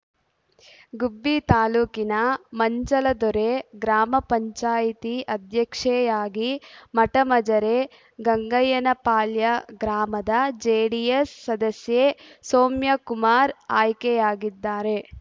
ಗುಬ್ಬಿ ತಾಲ್ಲೂಕಿನ ಮಂಚಲದೊರೆ ಗ್ರಾಮ ಪಂಚಾಯಿತಿ ಅಧ್ಯಕ್ಷೆಯಾಗಿ ಮಠ ಮಜರೆ ಗಂಗಯ್ಯನಪಾಳ್ಯ ಗ್ರಾಮದ ಜೆಡಿಎಸ್ ಸದಸ್ಯೆ ಸೌಮ್ಯಕುಮಾರ್ ಆಯ್ಕೆಯಾಗಿದ್ದಾರೆ